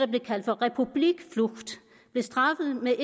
blev kaldt for republikflucht blev straffet med